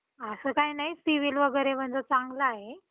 असं काय नाही CIBIL वगैरे माझं चांगले आहे.